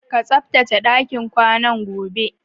Ka tsaftace ɗakin kwanan, gobe!